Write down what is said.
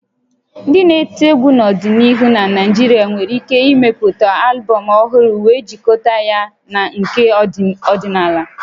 Ndị na-eti egwu n'ọdịnihu na Naịjirịa nwere ike ịmepụta albọm ọhụrụ wee jikọta ya na nke ọdịnala